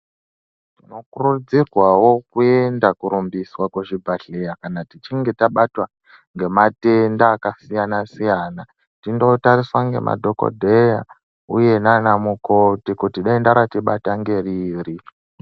Tinokurudzirwawo kuenda kurumbiswa kuzvibhedhlera kana tichinge tabatwa ngematenda akasiyana siyana tindotariswa ngemadhokodheya uye nana mukoti kuti denda ratibata nderiri.